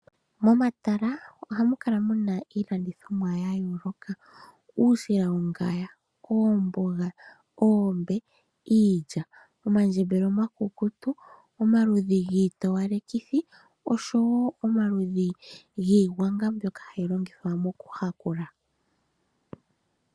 Momatala oha mu kala mu na iilandithomwa yayooloka ngaashi uusila wongaya ,oomboga, oombe, iilya, omandjebele omakukutu, omaludhi giitowalekithi oshowo omaludhi giingwanga mbyoka hayi longithwa moku yakula.